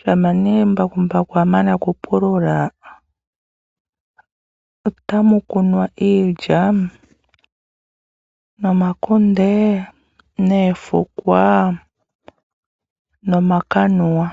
shampa nee ngele embakumbaku lya mana okupulula otamu kunwa iilya, omakunde noofukwa nomakanuwa.